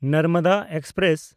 Narmada express